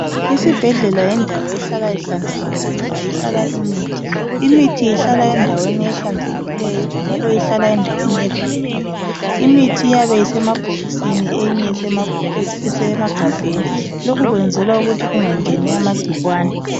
Isibhedlela yindawo ehlala ihlanzekile ngoba ihlala imithi, imithi ihlala endaweni ehlanzekileyo njalo ihlala endaweni evalelweyo, imithi iyabe isemabhokisini eyinye isemagabheni, lokhu kwenzelwa ukuthi kungangeni amagcikwane.